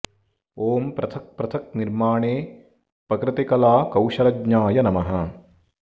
ॐ पृथक् पृथक् निर्माणे पकृति कला कौशलज्ञाय नमः